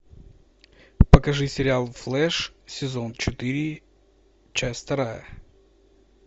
покажи сериал флэш сезон четыре часть вторая